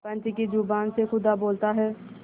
पंच की जबान से खुदा बोलता है